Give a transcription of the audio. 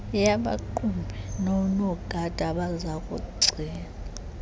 yabaqhubi nonogada abazakugcina